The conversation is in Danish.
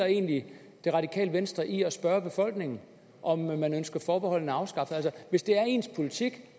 egentlig det radikale venstre i at spørge befolkningen om man ønsker forbeholdene afskaffet hvis det er ens politik